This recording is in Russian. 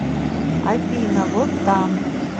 афина вот там